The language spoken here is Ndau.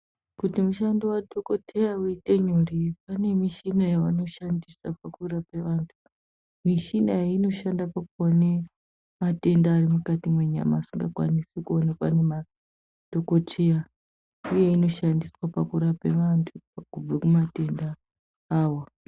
Kuti mushando wadhokotheya uite nyore pane mishina yavanoshandisa kurapa vantu. Mishina iyi inoshande kuone matenda ari mukati menyama asingakwanisi kuonekwa ngemadhokodheya uye inoshandiswe pakurape vantu kubve kumatenda awo.